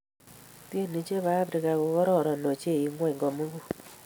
Tienii che bo Afrika ko ororon ochei eng ng'ony komugul.